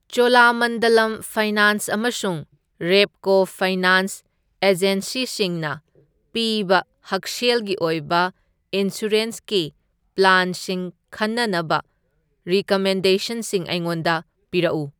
Cholamandalam finance ꯑꯃꯁꯨꯡ Repco finance ꯑꯦꯖꯦꯟꯁꯤꯁꯤꯡꯅ ꯄꯤꯕ ꯍꯛꯁꯦꯜꯒꯤ ꯑꯣꯏꯕ ꯏꯟꯁꯨꯔꯦꯟꯁꯀꯤ ꯄ꯭ꯂꯥꯟꯁꯤꯡ ꯈꯟꯅꯅꯕ ꯔꯤꯀꯃꯦꯟꯗꯦꯁꯟꯁꯤꯡ ꯑꯩꯉꯣꯟꯗ ꯄꯤꯔꯛꯎ ꯫